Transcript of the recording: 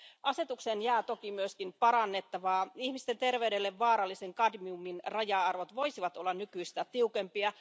Asetukseen jää toki myös parannettavaa. Ihmisten terveydelle vaarallisen kadmiumin raja arvot voisivat olla nykyistä tiukempia.